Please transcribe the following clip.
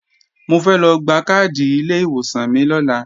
Mo fẹ́ lọ gba káàdì ilé ìwòsàn mi lọ́la